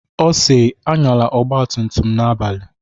Ọ si "Anyala ọgba tum tum n'abalị"